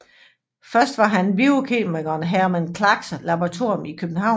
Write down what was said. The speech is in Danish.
Først var han på biokemikeren Herman Kalckars laboratorium i København